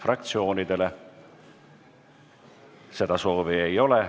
Kõnesoove ei ole.